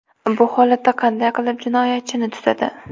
Bu holatda qanday qilib jinoyatchini tutadi?